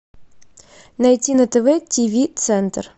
найти на тв тв центр